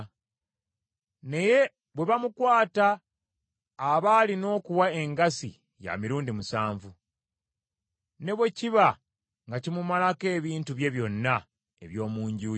Naye bwe bamukwata aba alina okuwa engassi ya mirundi musanvu; ne bwe kiba nga kimumalako ebintu bye byonna eby’omu nju ye.